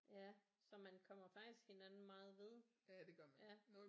Ja så man kommer faktisk hinanden meget ved ja